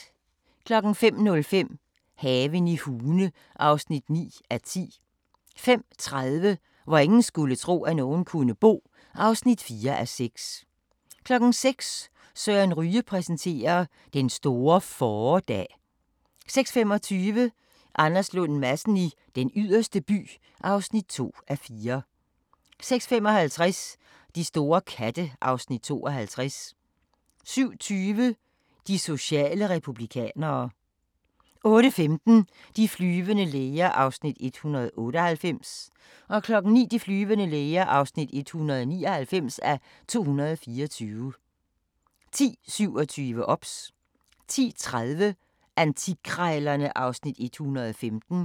05:05: Haven i Hune (9:10) 05:30: Hvor ingen skulle tro, at nogen kunne bo (4:6) 06:00: Søren Ryge præsenterer: Den store fåredag 06:25: Anders Lund Madsen i Den Yderste By (2:4) 06:55: De store katte (Afs. 52) 07:20: De sociale republikanere 08:15: De flyvende læger (198:224) 09:00: De flyvende læger (199:224) 10:27: OBS 10:30: Antikkrejlerne (Afs. 115)